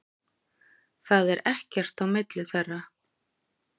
Það er ekkert á milli þeirra.